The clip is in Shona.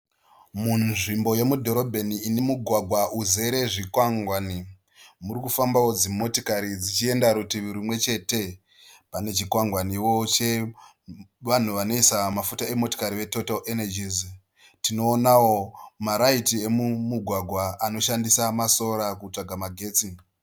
Munzvimbo yemudhorobheni ine mugwagwa uzere zvikwangwani. Muri kufambawo dzimotokari dzichienda rutivi rumwe chete. Pane chikwangwaniwo chevanhu vanoisa mafuta vemotokari e " Total energies". Tinoonawo ma "raiti" emumugwagwa anoshandisa ma "solar" kutsvaga magetsi.